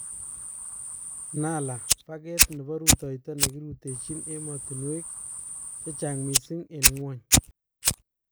Nala : pakeet nebo rutoyto nekiruteechi emotunweek chechang missing en ngwony